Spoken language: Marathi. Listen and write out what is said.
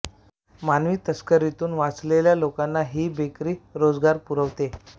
मानवी तस्करीतुन वाचलेल्या लोकांना ही बेकरी रोजगार पुरवते